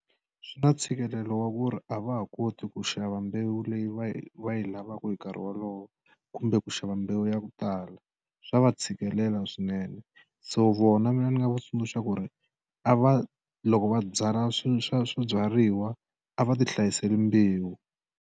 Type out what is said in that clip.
Swi na ntshikelelo wa ku ri a va ha koti ku xava mbewu leyi va yi va yi lavaka hi nkarhi wolowo kumbe ku xava mbewu ya ku tala swa va tshikelela swinene so vona mina ni nga va tsundzuxa ku ri a va loko va byala swi swa swibyariwa a va ti hlayiseli mbewu.